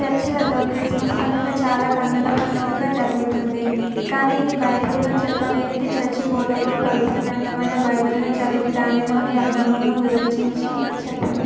చర్చులలో Christmas పండుగ చాలా కన్నుల పండువగా జరుగుతుంది కానీ ఇది బైబిల్లో చెప్పలేనిది చర్చి బోధకుడు పవిత్ర గ్రంథ మయిన బైబిల్ను చదివి దానిలోని అర్థమును వివరిచించి చెప్పును